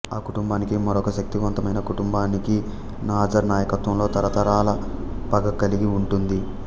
ఆ కుటుంబానికి మరొక శక్తివంతమైన కుటుంబానికి నాజర్ నాయకత్వంలో తరతరాల పగ కలిగి ఉంటుంది